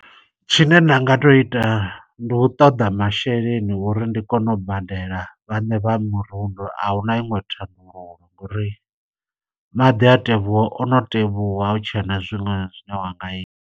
Tshine nda nga to ita, ndi u ṱoḓa masheleni uri ndi kone u badela vhaṋe vha mirundu. Ahuna iṅwe thandululo ngo uri maḓi a tevhuwa ono tevhuwa, ahutshena zwiṅwe zwine wa nga ita.